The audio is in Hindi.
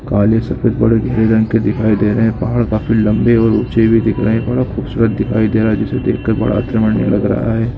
काले सफेद गहरे रंग के दिखाई दे रहे हैं पहाड़ अभी लंबे और उचे भी दिख रहे हैं बड़ा खूबसूरत दिखाई दे रहा है जिसको देखकर लग रहा है।